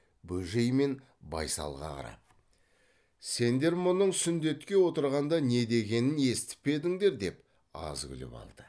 бөжей мен байсалға қарап сендер мұның сүндетке отырғанда не дегенін естіп пе едіңдер деп аз күліп алды